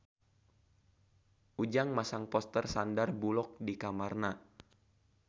Ujang masang poster Sandar Bullock di kamarna